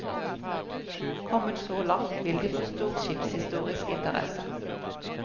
Kommet så langt vil de få stor skipshistorisk interesse.